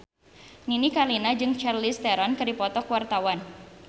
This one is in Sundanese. Nini Carlina jeung Charlize Theron keur dipoto ku wartawan